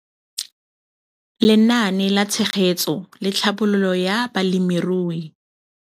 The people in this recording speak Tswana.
Lenaane la Tshegetso le Tlhabololo ya Balemirui